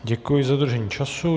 Děkuji za dodržení času.